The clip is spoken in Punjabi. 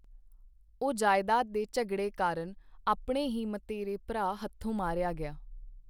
ਉਹ ਜਇਦਾਦ ਦੇ ਝਗੜੇ ਕਾਰਨ ਆਪਣੇ ਹੀ ਮਤਏਰੇ ਭਰਾ ਹੱਥੋਂ ਮਾਰਿਆ ਗਿਆ।